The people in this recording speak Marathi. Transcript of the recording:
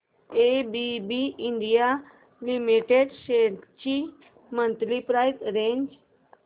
एबीबी इंडिया लिमिटेड शेअर्स ची मंथली प्राइस रेंज